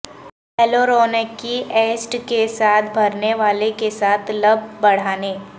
ہیلیورونیکی acid کے ساتھ بھرنے والے کے ساتھ لپ بڑھانے